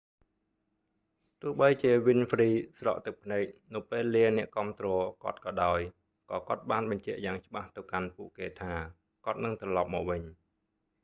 ទោះបីជាវីនហ្វ្រ៊ី winfrey ស្រក់ទឹកភ្នែកនៅពេលលាអ្នកគាំទ្រគាត់ក៏ដោយ ក៏គាត់បានបញ្ជាក់យ៉ាងច្បាស់ទៅកាន់ពួកគេថា គាត់នឹងត្រឡប់មកវិញ